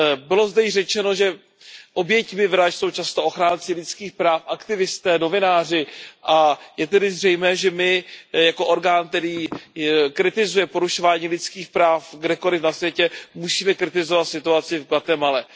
Bylo zde již řečeno, že oběťmi vražd jsou často ochránci lidských práv, aktivisté, novináři, a je tedy zřejmé, že my jako orgán, který kritizuje porušování lidských práv kdekoliv na světě, musíme kritizovat situaci v Guatemale.